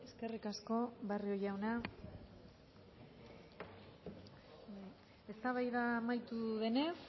eskerrik asko barrio jauna eztabaida amaitu denez